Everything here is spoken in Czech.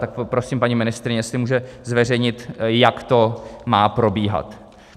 Tak poprosím paní ministryni, jestli může zveřejnit, jak to má probíhat.